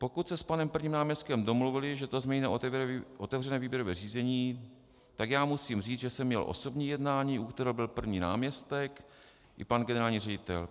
Pokud se s panem prvním náměstkem domluvili, že to změní na otevřené výběrové řízení, tak já musím říct, že jsem měl osobní jednání, u kterého byl první náměstek i pan generální ředitel.